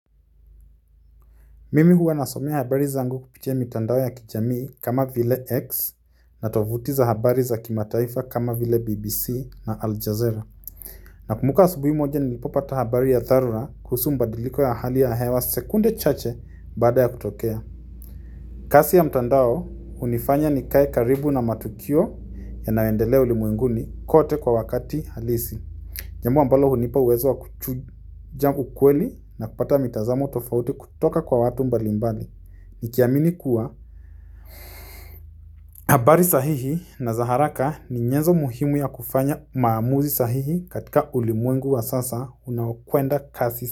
Mimi huwa nasomea habari zangu kupitia mtandao ya kijamii kama vile X na tovuti za habari za kimataifa kama vile BBC na Aljazeera. Nakumbuka asubuhi moja nilipopata habari ya dharura kuhusu mbadiliko ya ahali ya hewa sekunde chache baada ya kutokea. Kasi ya mtandao hunifanya nikae karibu na matukio yanayoendelea ulimwenguni kote kwa wakati halisi. Jambo ambalo hunipa uwezo wa kuchuja ukweli na kupata mitazamo tofauti kutoka kwa watu mbali mbali. Nikiamini kuwa, abari sahihi na za haraka ni nyenzo muhimu ya kufanya maamuzi sahihi katika ulimwengu wa sasa unawokwenda kasi.